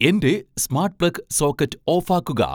എൻറെ smart plug socket ഓഫാക്കുക